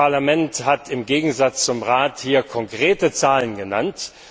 Das Parlament hat im Gegensatz zum Rat hier konkrete Zahlen genannt.